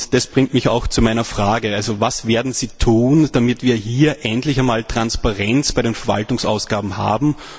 Das bringt mich auch zu meiner Frage Was werden sie tun, damit wir hier endlich einmal Transparenz bei den Verwaltungsausgaben haben?